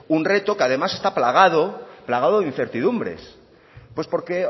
un reto que además está plagado plagado de incertidumbres pues porque